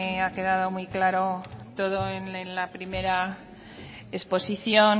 ha quedado muy claro todo en la primera exposición